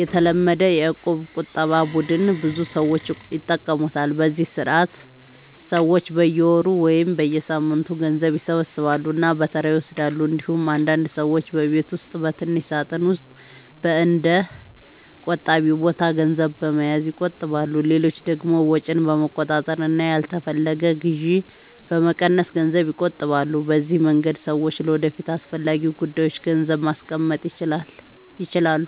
የተለመደው የእቁብ ቁጠባ ቡድን ብዙ ሰዎች ይጠቀሙበታል፤ በዚህ ስርዓት ሰዎች በየወሩ ወይም በየሳምንቱ ገንዘብ ይሰበስባሉ እና በተራ ይወስዳሉ። እንዲሁም አንዳንድ ሰዎች በቤት ውስጥ በትንሽ ሳጥን ወይም በእንደ “ቆጣቢ ቦታ” ገንዘብ በመያዝ ይቆጥባሉ። ሌሎች ደግሞ ወጪን በመቆጣጠር እና ያልተፈለገ ግዢ በመቀነስ ገንዘብ ይቆጥባሉ። በዚህ መንገድ ሰዎች ለወደፊት አስፈላጊ ጉዳዮች ገንዘብ ማስቀመጥ ይችላሉ።